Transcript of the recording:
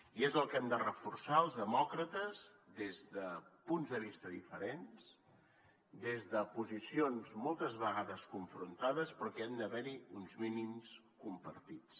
i és el que hem de reforçar els demòcrates des de punts de vista diferents des de posicions moltes vegades confrontades però que han d’haver hi uns mínims compartits